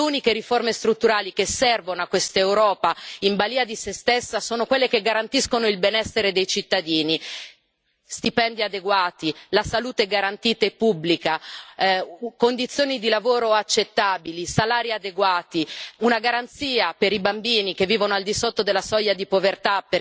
Le uniche riforme strutturali che servono a quest'Europa in balia di se stessa sono quelle che garantiscono il benessere dei cittadini stipendi adeguati, la salute garantita e pubblica, condizioni di lavoro accettabili, salari adeguati, una garanzia per i bambini che vivono al di sotto della soglia di povertà.